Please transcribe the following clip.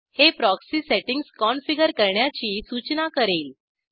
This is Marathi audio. हे प्रॉक्सी सेटिंग्ज कॉन्फिगर करण्याची सूचना करेल